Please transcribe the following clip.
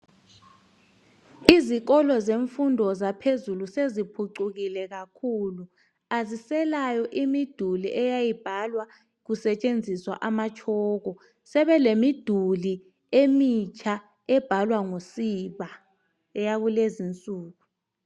Izikolo zemfundo zaphezulu sezipucukile kakhulu aziselayo imidulu eyayibhalwa kusetshenziswa amatshoko sebelemiduli emitsha ebhalwa ngosiba, eyakulezinsuku.